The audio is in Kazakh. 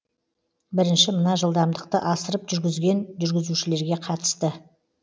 бірінші мына жылдамдықты асырып жүргізген жүргізушілерге қатысты